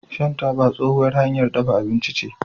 shan taba tsohuwar hanyar dafa abinci ce